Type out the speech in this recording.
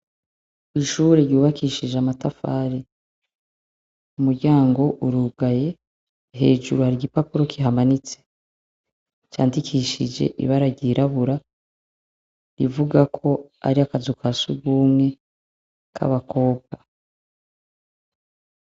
Ishure ryubakishije amatafari umuryango urugaye hejuru hari igipapuro kihamanitse candikishije ibara ryirabura rivuga ko ari akazu ka surwumwe k'abakobwa.